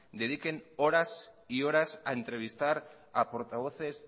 dediquen horas y horas a entrevistar a portavoces